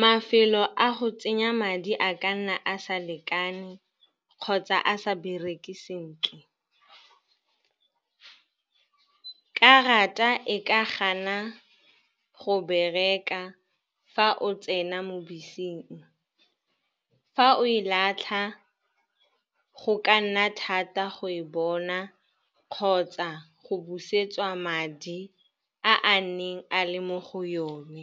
Mafelo a go tsenya madi a ka nna a sa lekane kgotsa a sa bereke sentle. Karata e ka gana go bereka fa o tsena mo beseng. Fa o e latlha go ka nna thata go e bona kgotsa go busetsa madi a a neng a le mo go yone.